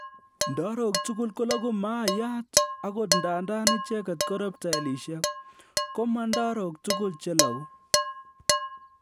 Ndarok tugul kologu maayat ogot ndandan icheget ko reptiliaishek, ko ma ndarok tugul chelogu